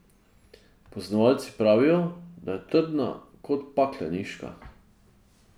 Poznavalci pravijo, da je trdna kot pakleniška.